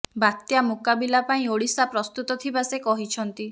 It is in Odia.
ବାତ୍ୟା ମୁକାବିଲା ପାଇଁ ଓଡ଼ିଶା ପ୍ରସ୍ତୁତ ଥିବା ସେ କହିଛନ୍ତି